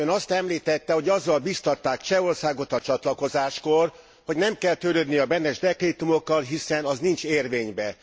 Ön azt említette, hogy azzal bíztatták Csehországot a csatlakozáskor, hogy nem kell törődni a Beneš dekrétumokkal, hiszen azok nincsenek érvényben.